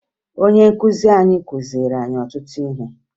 Ọnye nkụzi anyị kụziri anyị ọtụtụ ihe